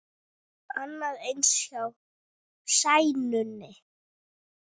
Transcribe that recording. Annað eins hjá Sæunni.